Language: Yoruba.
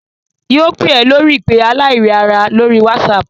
Yóò pè ẹ́ lórí ìpè aláìríara lórí WhatsApp